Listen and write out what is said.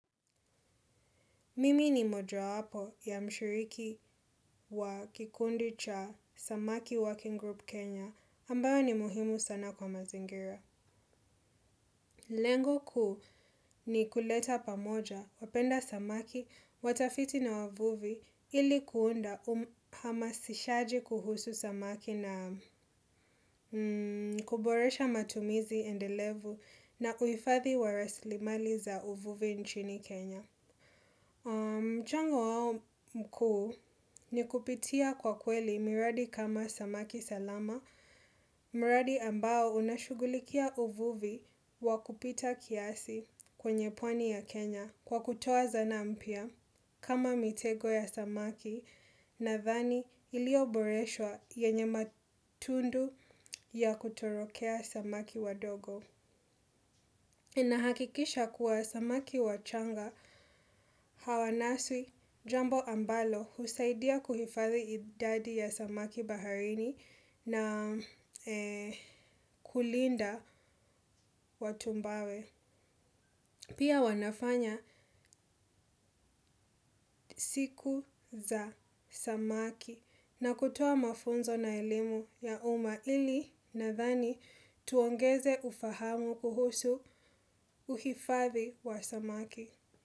Mimi ni moja wapo ya mshiriki wa kikundi cha Samaki Working Group Kenya ambayo ni muhimu sana kwa mazingira. Lengo kuu ni kuleta pamoja, wapenda samaki, watafiti na wavuvi ili kuunda uhamasishaji kuhusu samaki na kuboresha matumizi endelevu na uifathi wa raslimali za uvuvi nchini Kenya. Mchango wao mkuu ni kupitia kwa kweli miradi kama samaki salama, mradi ambao unashugulikia uvuvi wakupita kiasi kwenye pwani ya Kenya kwa kutoa zana mpya kama mitego ya samaki na dhani ilio boreshwa yenye matundu ya kutorokea samaki wadogo. Nahakikisha kuwa samaki wachanga hawanaswi jambo ambalo husaidia kuhifadhi idadi ya samaki baharini na kulinda watumbawe. Pia wanafanya siku za samaki na kutoa mafunzo na elimu ya umma ili nadhani tuongeze ufahamu kuhusu uhifadhi wa samaki.